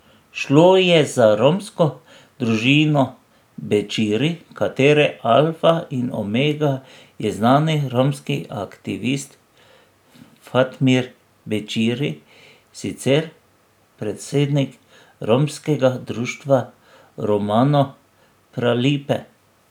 Šlo je za romsko družino Bećiri, katere alfa in omega je znani romski aktivist Fatmir Bećiri, sicer predsednik romskega društva Romano Pralipe.